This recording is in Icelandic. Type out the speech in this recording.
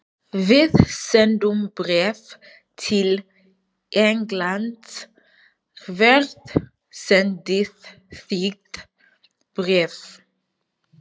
Við sendum bréf til Englands. Hvert sendið þið bréf?